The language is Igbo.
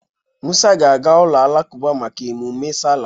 Mụsa ga-aga ụka alakụba maka emume sala.